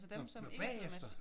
Nå nå bagefter?